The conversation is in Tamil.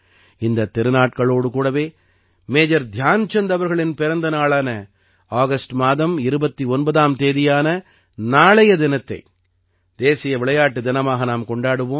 இந்தத் திருநாட்களோடு கூடவே மேஜர் தியான்சந்த் அவர்களின் பிறந்த நாளான ஆகஸ்ட் மாதம் 29ஆம் தேதியான நாளைய தினத்தை தேசிய விளையாட்டு தினமாக நாம் கொண்டாடுவோம்